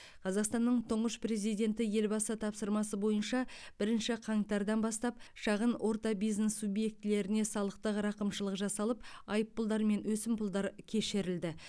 қазақстанның тұңғыш президенті елбасы тапсырмасы бойынша бірінші қаңтардан бастап шағын орта бизнес субъектілеріне салықтық рақымшылық жасалып айыппұлдар мен өсімпұлдар кешірілді